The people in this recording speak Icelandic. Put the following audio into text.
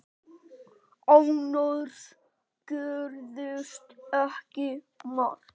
Annars gerðist ekki margt.